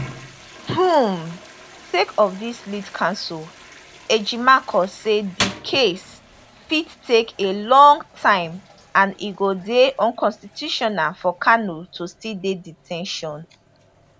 um sake of dis lead counsel ejimakor say di case fit take a long time and e go dey unconstitutional for kanu to still dey de ten tion